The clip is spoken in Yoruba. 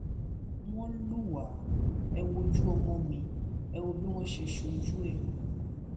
wọn lù wá ẹ wo ojú ọmọ mi ẹ wò bí wọn ṣe ṣojú ẹ